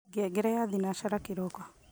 ngengere ya thinashara kiroko